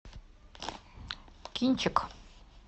кинчик